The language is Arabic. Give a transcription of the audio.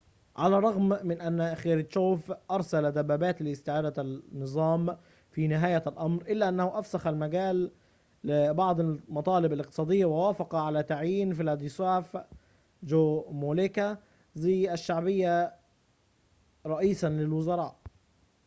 على الرغم من أن خروتشوف أرسل دبابات لاستعادة النظام في نهاية الأمر إلا أنه أفسح المجال لبعض المطالب الاقتصادية ووافق على تعيين فلاديسلاف جومولكا ذي الشعبية رئيساً للوزراء